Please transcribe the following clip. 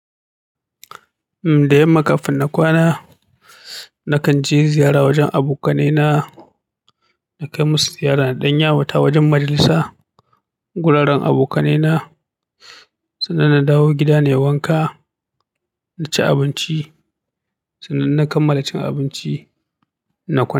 Uhm, da yamma kafin na kwana, nakan je ziyara wajen abokanai na, na kai musu ziyara na ɗan yawata wajen majalisa, guraren abokanai na. Sannan na dawo gida nai wanka, na ci abinci. Sannan na kammala cin abinci, na kwana.